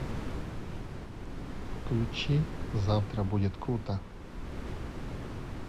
включи завтра будет круто